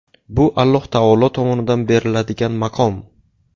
Bu Alloh taolo tomonidan beriladigan maqom.